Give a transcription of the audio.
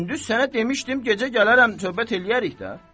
Gündüz sənə demişdim gecə gələrəm söhbət eləyərik də.